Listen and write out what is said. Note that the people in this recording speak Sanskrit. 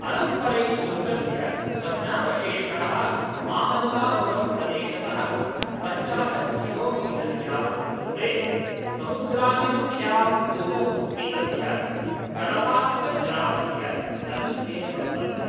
अलम्परैदुर्गस्य भग्नावशेषाः मामल्लापुरम्प्रदेशतः पञ्चाशत् किलोमीटर् यावद् दूरे समुद्राभिमुख्यां भूमौ स्थितस्य कडपाक्कम् ग्रामस्य समीपे वर्तन्ते।